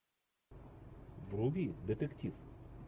вруби детектив